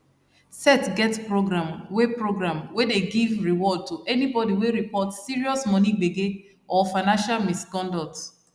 sec get program wey program wey dey give reward to anybody wey report serious money gbege or financial misconduct